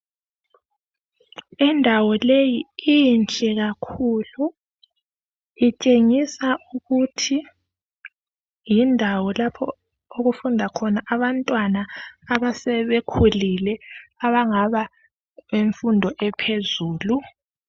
Indawo leyi inhle kakhulu, itshengisa ukuthi yindawo lapho okufunda khona abantwana asebekhulile. Abangaba ngabe nfundo ephezulu.